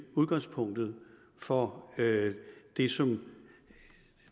udgangspunktet for det som